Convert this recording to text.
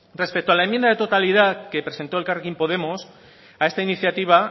respecto a la enmienda de totalidad que presentó elkarrekin podemos a esta iniciativa